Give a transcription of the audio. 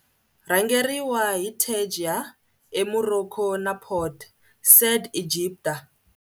Rhangeriwa hi Tangier eMorocco na Port Said eEgipta.